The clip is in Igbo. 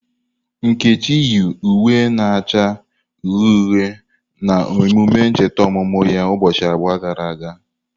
Nkechi yi uwe na-acha uhie uhie na emume ncheta ọmụmụ ya ụbọchị abụọ gara aga.